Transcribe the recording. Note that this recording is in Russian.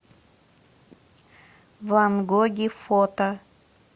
ван гоги фото